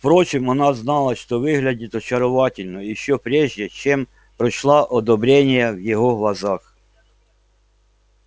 впрочем она знала что выглядит очаровательно ещё прежде чем прочла одобрение в его глазах